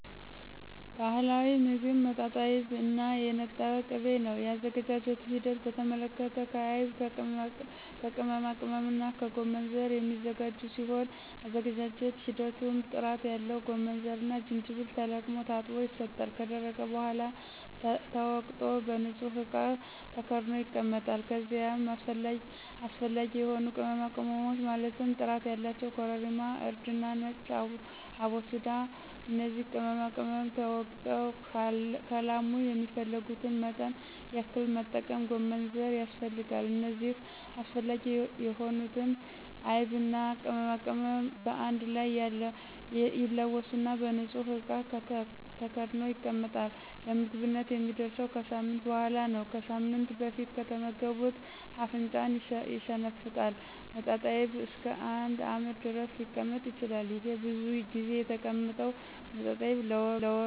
ባህላዊ ሞግብ መጣጣይብ እና የነጠረ ቅቤ ነው የአዘገጃጀቱ ሂደት በተመለከተ ከአይብ ከቅመማቅመምና ከጎመንዘር የሚዘጋጅ ሲሆን የአዘገጃጀት ሂደቱም ጥራት ያለው ጎመንዘርና ጅጅብል ተለቅሞ ታጥቦ ይሰጣል ከደረቀ በሗላ ተወቅጦ በንጹህ እቃ ተከድኖ ይቀመጣል ከዚይም አሰፈላጊ የሆኑ ቅመማቅመሞች ማለትም ጥራት ያላቸው ኮረሪማ :እርድና ነጭ አቦስዳ እነዚህ ቅመማቅመም ተወግጠው ከላሙ የሚፈልጉትን መጠን ያክል መጠቀም ጎመንዘር ያስፈልጋል እነዚህ አስፈላጊ የሆኑትን አይብና ቅመማቅመም በአንድ ላይ ይለወሱና በንጹህ እቃ ተከድኖ ይቀመጣል ለምግብነት የሚደርሰው ከሳምንት በሗላ ነው ከሳምንት በፊት ከተመገቡት አፍንጫን ይሸነፍጣል መጣጣይብ እስከ አንድ አመት ድረስ ሊቀመጥ ይችላል። ይሄ ብዙ ጊዜ የተቀመጠው መጣጣይብ ለወባ በሽታ ፍቱን መድሀኒት ነው ከስሯ ነቅሎ ይጥላታል።